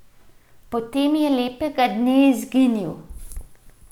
Potem je lepega dne izginil.